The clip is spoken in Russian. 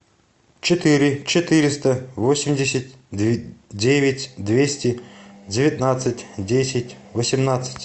четыре четыреста восемьдесят девять двести девятнадцать десять восемнадцать